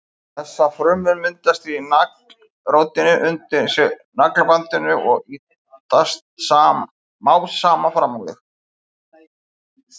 Þessar frumur myndast í naglrótinni undir naglabandinu og ýtast smám saman fram á við.